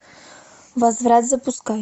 возврат запускай